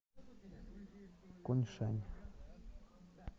куньшань